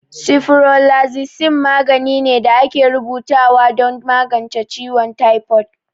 Sifuroflazicin magani ne da ake rubuta wa don magance ciwon taifod